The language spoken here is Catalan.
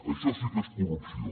això sí que és corrupció